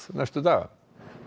næstu daga